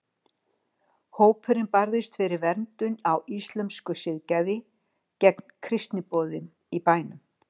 Hópurinn barðist fyrir verndun á íslömsku siðgæði og gegn kristniboðum í bænum.